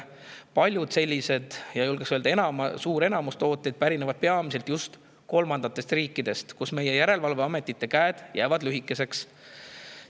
Paljud sellised tooted – julgen öelda, et suur enamus – pärinevad kolmandatest riikidest, kus meie järelevalveametite käed jäävad lühikeseks.